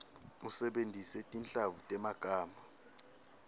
usebentise tinhlavu temagama